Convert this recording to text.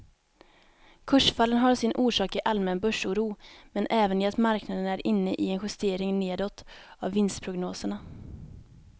Kursfallen har sin orsak i allmän börsoro men även i att marknaden är inne i en justering nedåt av vinstprognoserna.